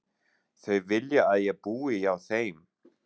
Þau vilja að ég búi hjá þeim.